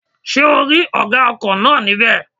Ṣé ò rí ọ̀gá ọkọ̀ náà ní bẹ̀?